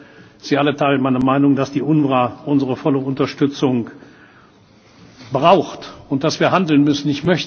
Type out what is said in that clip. Ich glaube, Sie alle teilen meine Meinung, dass die UNRWA unsere volle Unterstützung braucht und dass wir handeln müssen.